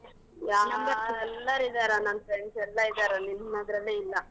ಎಲ್ಲರಿದಾರ ನನ್ friends ಎಲ್ಲಾ ಇದಾರಾ ನಿಂದ್ ಮಾತ್ರನೇ ಇಲ್ಲ.